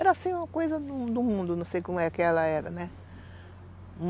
Era assim uma coisa do mundo, não sei como é que ela era, né?